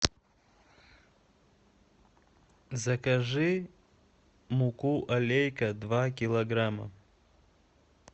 закажи муку алейка два килограмма